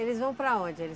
Eles vão para onde, eles?